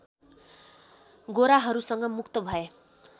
गोराहरूसँग मुक्त भए